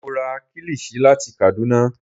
Mo ra kílìṣí láti Kàdúná